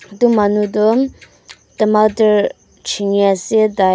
edu manu toh tomatar chiniase tai--